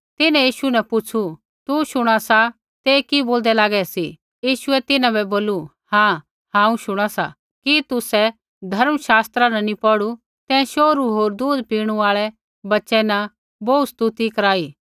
तिन्हैं यीशु न पुछ़ू तू शुणा सा ते कि बोलदै लागै सी यीशुऐ तिन्हां बै बोलू हाँ हांऊँ शुणा सा कि तुसै धर्म शास्त्रा न नी पौढ़ू तैं शोहरू होर दूध पीणू आल़ै बच्चै न अपार स्तुति कराई